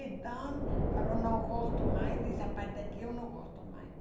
Então falou, não gosto mais dessa parte aqui, eu não gosto mais.